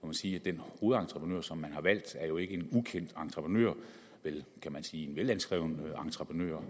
må sige at den hovedentreprenør som man har valgt jo ikke er en ukendt entreprenør men en velanskreven entreprenør